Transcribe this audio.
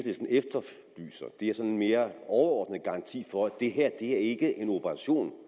mere overordnet garanti for at det her ikke er en operation